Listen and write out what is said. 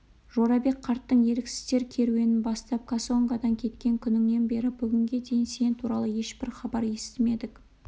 жорабек қарттың еріксіздер керуенін бастап кассангодан кеткен күніңнен бері бүгінге дейін сен туралы ешбір хабар естімедік